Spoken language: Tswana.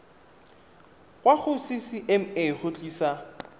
kwa go ccma go tlisa